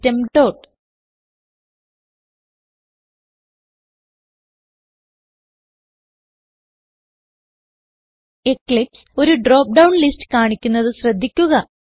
system dot eclipse ഒരു drop down list കാണിക്കുന്നത് ശ്രദ്ധിക്കുക